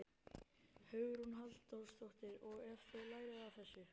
Hugrún Halldórsdóttir: Og þið lærið af þessu?